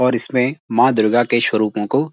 और इसमें माँ दुर्गा के स्वरूपों को --